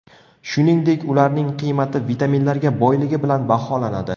Shuningdek, ularning qiymati vitaminlarga boyligi bilan baholanadi.